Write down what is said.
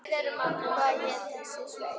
Hvað hét þessi sveit?